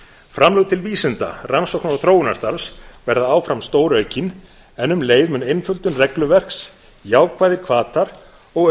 framlög til vísinda rannsóknar og þróunarstarfs verða áfram stóraukin en um leið mun einföldun regluverks jákvæðir hvatar og